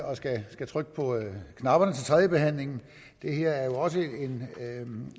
skulle trykke på knapperne til tredjebehandlingen det her er jo også en